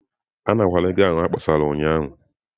Anarakwala ego ahụ ha kpọsara ụnyahụ.